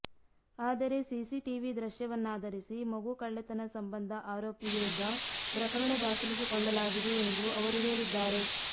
ಆದರೆ ಸಿಸಿಟಿವಿ ದೃಶ್ಯವನ್ನಾಧರಿಸಿ ಮಗು ಕಳ್ಳತನ ಸಂಬಂಧ ಆರೋಪಿ ವಿರುದ್ಧ ಪ್ರಕರಣ ದಾಖಲಿಸಿಕೊಳ್ಳಲಾಗಿದೆ ಎಂದು ಅವರು ಹೇಳಿದ್ದಾರೆ